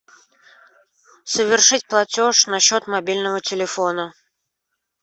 совершить платеж на счет мобильного телефона